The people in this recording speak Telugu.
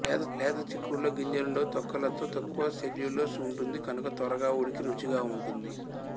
లేత చిక్కుడులో గింజలుండవు తొక్కలతో తక్కువ సెల్యులోస్ ఉంటుంది కనుక త్వరగా ఉడికి రుచిగా ఉంటుంది